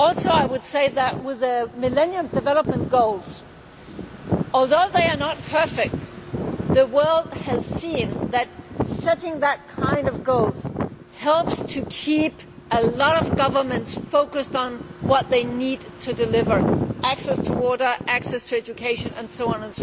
I would also say that with the Millennium Development Goals, although they are not perfect, the world has seen that setting such goals helps to keep a lot of governments focused on what they need to deliver access to water, access to education and so on.